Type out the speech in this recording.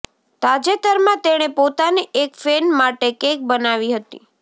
તાજેતરમાં તેણે પોતાની એક ફેન માટે કેક બનાવી હતી